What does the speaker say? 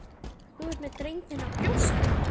Þú ert með drenginn á brjósti.